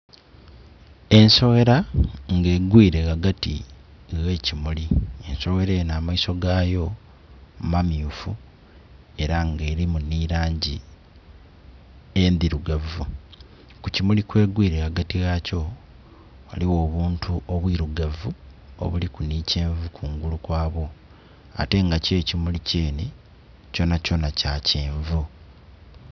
Ensoghera nga egwire ghagati gh'ekimuli, ensoghera eno amaiso gaayo mamyufu eranga nga erimu ni langi endhirugavu. Ku kimuli kw'egwire ghagati ghakyo, ghaligho obuntu obwirugavu obuliku ni kyenvu kungulu kwabwo, ate nga kyo ekimuli kyene kyonakyona kya kyenvu.